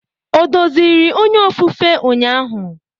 O doziri onye ofufe ụnyaahụ?